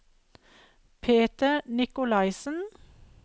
Peter Nicolaisen